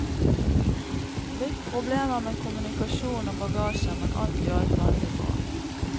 Litt problemer med kommunikasjon og bagasje, men alt i alt veldig bra.